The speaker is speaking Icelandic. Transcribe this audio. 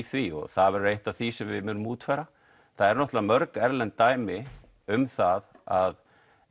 því það verður eitt af því sem við munum útfæra það eru mörg erlend dæmi um það að